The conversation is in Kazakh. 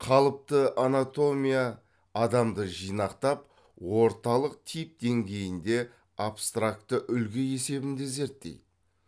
қалыпты анатомия адамды жинақтап орталық тип деңгейінде абстракты үлгі есебінде зерттейді